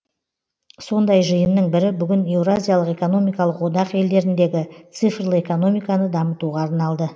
сондай жиынның бірі бүгін еуразиялық экономикалық одақ елдеріндегі цифрлы экономиканы дамытуға арналды